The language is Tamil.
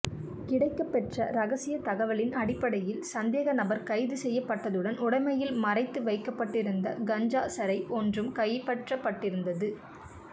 கிடைக்கபெற்ற இரகசிய தகவலின் அடிப்படையில் சந்தேக நபர் கைது செய்யப்பட்டதுடன் உடமையில் மறைத்து வைக்கப்பட்டிருந்த கஞ்சா சரை ஒன்றும் கைபெற்றப்பட்டிருந்தது